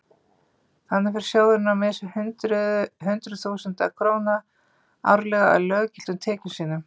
Þannig fer sjóðurinn á mis við hundruð þúsunda króna árlega af löggiltum tekjum sínum.